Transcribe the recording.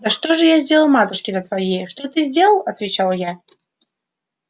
да что ж я сделал матушке-то твоей что ты сделал отвечал я